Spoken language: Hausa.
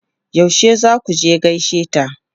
Yaushe za ku je gaishe ta?